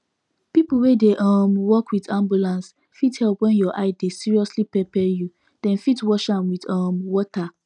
people wey dey um work with ambulance fit help when your eye dey seriously pepper you them fit wash am with um water